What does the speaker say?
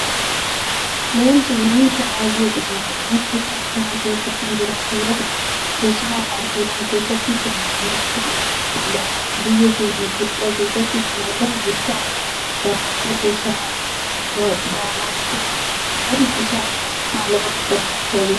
Leenci bineensa baay'ee cimaadha. Bineensi kun bosona keessa kan jiraattu yoota'u keessumaa paarkiiwwan keessatti heddummachuun mul'ata. Biyya keenya Itoophiyaa keessattis kan argamu yoo ta'u daawwattoota isa gaawwachuu dhufan irraa maallaqa guddaa argachaa jirra.